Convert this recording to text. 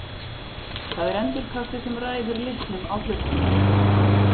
Það er endurkastið sem ræður litnum á hlutnum.